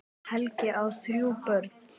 Helgi á þrjú börn.